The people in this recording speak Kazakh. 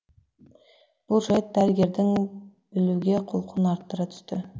бұл жайт дәрігердің білуге құлқын арттыра түсті